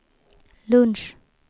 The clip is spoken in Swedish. lunch